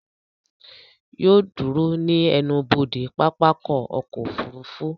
Yóò ó dúró ní ẹnubodè pápákọ̀ ọkọ̀ òfurufú